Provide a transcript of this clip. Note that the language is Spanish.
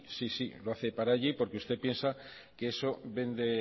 sí sí lo hace para allí porque usted piensa que eso vende